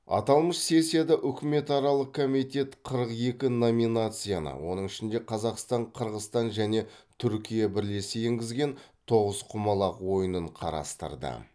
аталмыш сессияда үкіметаралық комитет қырық екі номинацияны оның ішінде қазақстан қырғызстан және түркия бірлесе енгізген тоғызқұмалақ ойынын қарастырды